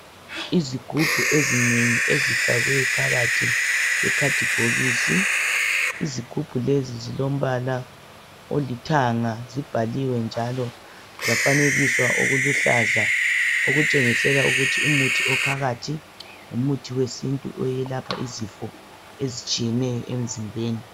Izigubhu ezinengi ezifakwephakathi kwekhadibhokisi. Izighubhu lezi zilombala olithanga, zibhaliwe njalo, zafanekiswa okuluhluza okutshengisela ukuthi umuthi ophakathi ngumuthi wesintu oyelapha izifo ezitshiyeneyo emzimbeni.